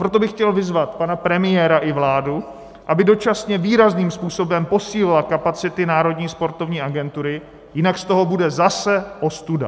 Proto bych chtěl vyzvat pana premiéra i vládu, aby dočasně výrazným způsobem posílila kapacity Národní sportovní agentury, jinak z toho bude zase ostuda.